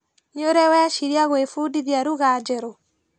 Nĩũrĩ weciria kwĩbundithia lugha njerũ?